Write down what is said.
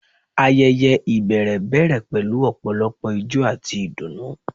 Ayẹyẹ ibẹrẹ bẹrẹ pẹlu ọpọlọpọ ijó ati idunnu